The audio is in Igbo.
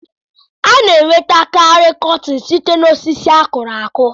A na-enweta karị kọtin site osisi akụrụ akụ.